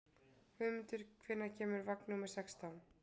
Guðmundur, hvenær kemur vagn númer sextán?